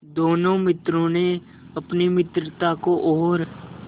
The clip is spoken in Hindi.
दोनों मित्रों ने अपनी मित्रता को और